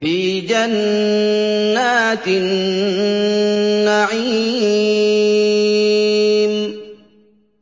فِي جَنَّاتِ النَّعِيمِ